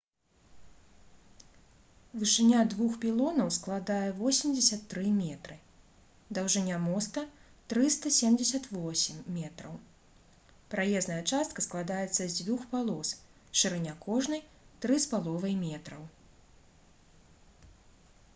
вышыня двух пілонаў складае 83 метры даўжыня моста - 378 метраў праезная частка складаецца з дзвюх палос шырыня кожнай - 3,50 м